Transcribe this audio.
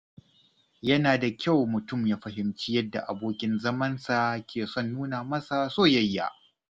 Yana da kyau mutum ya fahimci yadda abokin zamansa ke son nuna masa soyayya.